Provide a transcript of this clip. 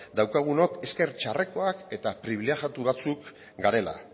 daukagunok ezker txarrekoak eta pribilegiatu batzuk garela